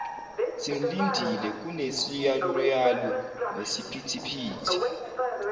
simlindile kunesiyaluyalu nesiphithiphithi